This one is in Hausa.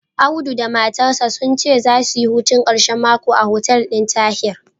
Audu da matarsa sun ce zasu yi hutun ƙarshen mako a hotel ɗin Tahir.